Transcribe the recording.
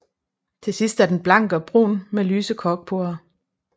Til sidst er den blank og brun med lyse korkporer